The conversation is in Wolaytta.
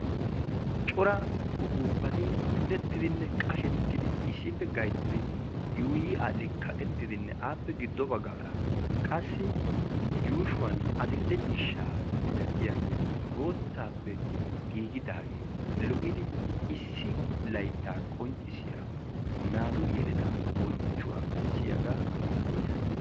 Cora upuppati punettidinne qashsheti issippe gayttidi yuuyyi all''i kaaqettidi yuushshuwan addl'ee ciishshaa miilatiyagenne boottappe giigidaage lo''idi issi laytta qonccissiya naatu yeletaa bessiyaaga yoottees.